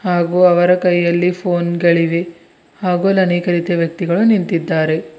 ಹಾಗೂ ಅವರ ಕೈಯಲ್ಲಿ ಫೋನ್ ಗಳಿವೆ ಹಾಗೂ ಆಲ್ ಆನೇಕಾ ರೀತಿಯ ವ್ಯಕ್ತಿಗಳು ನಿಂತಿದ್ದಾರೆ.